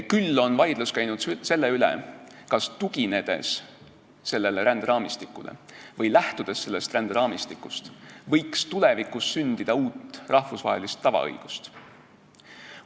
Küll on vaidlus käinud selle üle, kas tuginedes sellele ränderaamistikule või lähtudes sellest ränderaamistikust võiks tulevikus sündida uut rahvusvahelist tavaõigust.